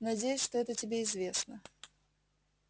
надеюсь что это тебе известно